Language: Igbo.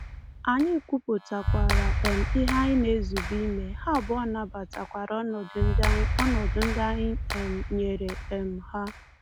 Anyị kwupụtakwara um ihe anyị na-ezube ime, ha abụọ nabatakwara ọnọdụ ndị anyị ọnọdụ ndị anyị um nyere um ha.